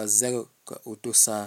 a zɛ ka o do saa.